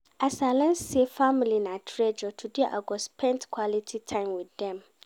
As I learn sey family na treasure, today I go spend quality time wit dem